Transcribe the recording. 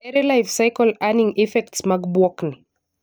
Ere life-cycle earning effects mag bwok ni?